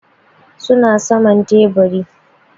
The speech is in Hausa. Su na saman teburi.